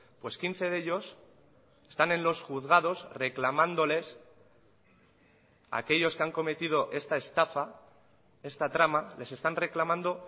pues quince de ellos están en los juzgados reclamándoles a aquellos que han cometido esta estafa esta trama les están reclamando